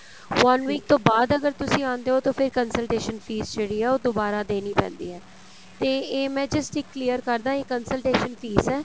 one week ਤੋਂ ਬਾਅਦ ਅਗਰ ਤੁਸੀਂ ਆਉਂਦੇ ਓ ਤਾਂ ਫੇਰ consultation fees ਜਿਹੜੀ ਏ ਉਹ ਦੁਬਾਰਾ ਦੇਣੀ ਪੈਂਦੀ ਏ ਤੇ ਇਹ ਮੈਂ just ਇੱਕ clear ਕਰਦਾ ਇਹ consultation fees ਏ